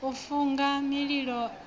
u funga mililo a ho